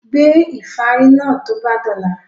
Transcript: Gbé ìfárí náà tó bá dọ̀la!